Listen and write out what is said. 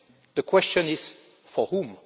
The question is for whom?